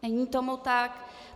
Není tomu tak.